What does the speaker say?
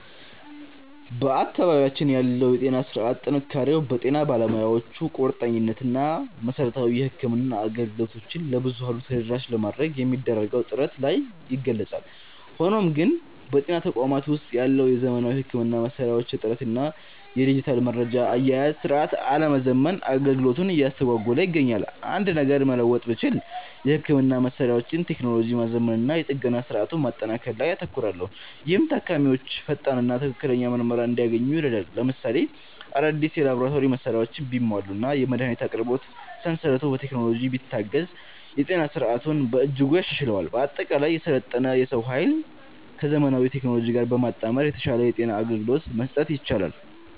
በአካባቢያችን ያለው የጤና ሥርዓት ጥንካሬው በጤና ባለሙያዎቹ ቁርጠኝነት እና መሠረታዊ የሕክምና አገልግሎቶችን ለብዙኃኑ ተደራሽ ለማድረግ በሚደረገው ጥረት ላይ ይገለጻል። ሆኖም ግን፣ በጤና ተቋማት ውስጥ ያለው የዘመናዊ ሕክምና መሣሪያዎች እጥረት እና የዲጂታል መረጃ አያያዝ ሥርዓት አለመዘመን አገልግሎቱን እያስተጓጎለ ይገኛል። አንድ ነገር መለወጥ ብችል፣ የሕክምና መሣሪያዎችን ቴክኖሎጂ ማዘመንና የጥገና ሥርዓቱን ማጠናከር ላይ አተኩራለሁ፤ ይህም ታካሚዎች ፈጣንና ትክክለኛ ምርመራ እንዲያገኙ ይረዳል። ለምሳሌ፣ አዳዲስ የላቦራቶሪ መሣሪያዎች ቢሟሉና የመድኃኒት አቅርቦት ሰንሰለቱ በቴክኖሎጂ ቢታገዝ የጤና ሥርዓቱን በእጅጉ ያሻሽለዋል። በአጠቃላይ፣ የሰለጠነ የሰው ኃይልን ከዘመናዊ ቴክኖሎጂ ጋር በማጣመር የተሻለ የጤና አገልግሎት መስጠት ይቻላል።